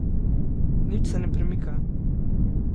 Nič se ne premika.